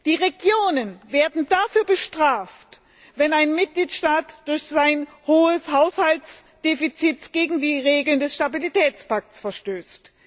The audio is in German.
Die Regionen werden dafür bestraft, wenn ein Mitgliedstaat durch sein hohes Haushaltsdefizit gegen die Regeln des Stabilitätspakts verstößt.